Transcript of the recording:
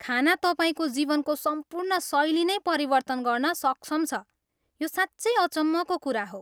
खाना तपाईँको जीवनको सम्पूर्ण शैली नै परिवर्तन गर्न सक्षम छ, यो साँच्चै अचम्मको कुरा हो।